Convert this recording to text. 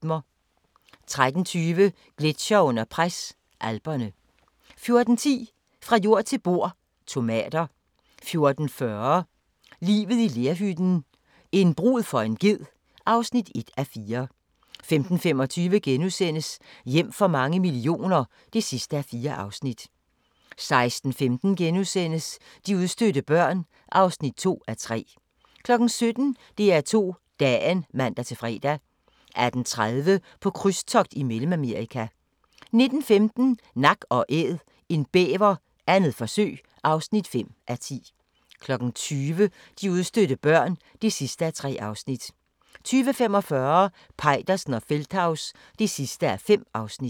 13:20: Gletsjere under pres – Alperne 14:10: Fra jord til bord: Tomater 14:40: Livet i lerhytten – en brud for en ged (1:4) 15:25: Hjem for mange millioner (4:4)* 16:15: De udstødte børn (2:3)* 17:00: DR2 Dagen (man-fre) 18:30: På krydstogt i Mellemamerika 19:15: Nak & Æd – en bæver, 2. forsøg (5:10) 20:00: De udstødte børn (3:3) 20:45: Peitersen og Feldthaus (5:5)